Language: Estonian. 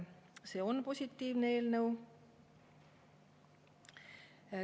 See on positiivne eelnõu.